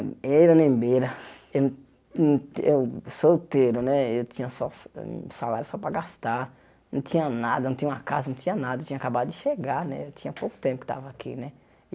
Eira nem beira, eu não eu solteiro né, eu tinha só hum salário só para gastar, não tinha nada, não tinha uma casa, não tinha nada, eu tinha acabado de chegar né, eu tinha pouco tempo que estava aqui né.